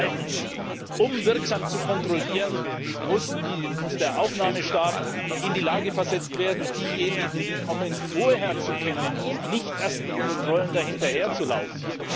Zweitens Um wirksam zu kontrollieren, muss der Aufnahmestaat in die Lage versetzt werden, diejenigen, die kommen, vorher zu kennen und nicht erst mit Kontrollen da hinterher zu laufen.